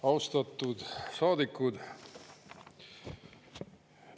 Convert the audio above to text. Austatud saadikud!